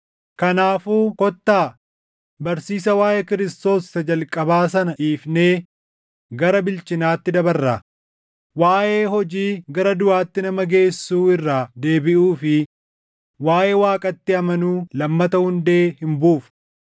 Kanaafuu kottaa barsiisa waaʼee Kiristoos isa jalqabaa sana dhiifnee gara bilchinaatti dabarraa; waaʼee hojii gara duʼaatti nama geessuu irraa deebiʼuu fi waaʼee Waaqatti amanuu lammata hundee hin buufnu;